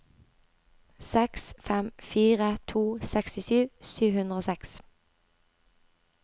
seks fem fire to sekstisju sju hundre og seks